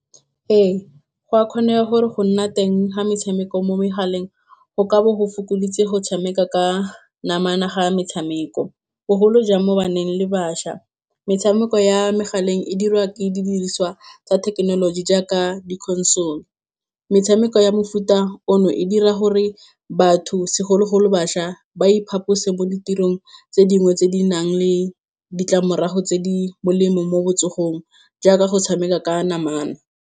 Ee, go a kgonega gore go nna teng ga metshameko mo megaleng, go ka bo go fokoditse go tshameka ka namana ga metshameko, bogolo jang mo baneng le bašwa. Metshameko ya megaleng e dirwa ke didiriswa tsa thekenoloji jaaka di-console, metshameko ya mofuta ono e dira gore batho segologolo bašwa, ba iphaphose mo ditirong tse dingwe tse di nang le ditlamorago tse di molemo mo botsogong, jaaka go tshameka ka namana.